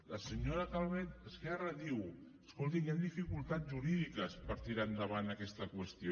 la senyora calvet d’esquerra diu escolti hi han dificultats jurídiques per tirar endavant aquesta qüestió